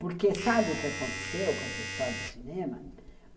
Porque sabe o que aconteceu com essa história do cinema?